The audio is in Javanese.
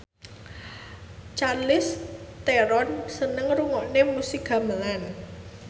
Charlize Theron seneng ngrungokne musik gamelan